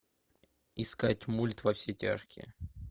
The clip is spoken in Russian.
искать мульт во все тяжкие